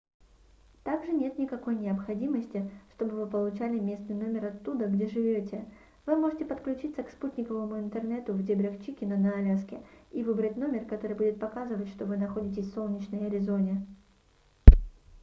также нет никакой необходимости чтобы вы получали местный номер оттуда где живёте вы можете подключиться к спутниковому интернету в дебрях чикена на аляске и выбрать номер который будет показывать что вы находитесь в солнечной аризоне